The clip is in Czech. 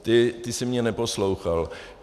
Ty jsi mě neposlouchal.